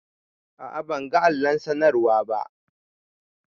A a ban ga allon sanarwan ba.